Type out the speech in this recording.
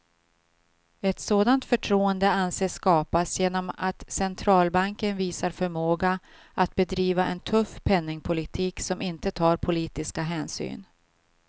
Ett sådant förtroende anses skapas genom att centralbanken visar förmåga att bedriva en tuff penningpolitik som inte tar politiska hänsyn.